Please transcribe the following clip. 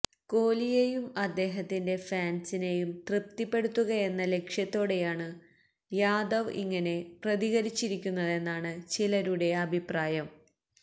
കോലിയെയും അദ്ദേഹത്തിന്റെ ഫാന്സിനെയും തൃപ്തിപ്പെടുത്തുകയെന്ന ലക്ഷ്യത്തോടെയാണ് യാദവ് ഇങ്ങനെ പ്രതികരിച്ചിരിക്കുന്നതെന്നാണ് ചിലരുടെ അഭിപ്രായം